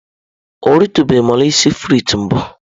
Ọ eritụbeghị mọulsị frịts mbụ.